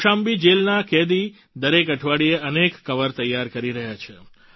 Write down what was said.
કૌશામ્બી જેલના કેદી દરેક અઠવાડીએ અનેક કવર તૈયાર કરી રહ્યા છે